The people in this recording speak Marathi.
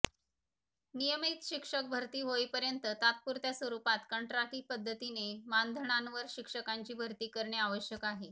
नियमित शिक्षक भरती होईपर्यंत तात्पूरत्या स्वरुपात कंत्राटी पद्धतीने मानधनांवर शिक्षकांची भरती करणे आवश्यक आहे